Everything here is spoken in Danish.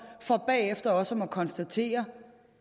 så bagefter også at måtte konstatere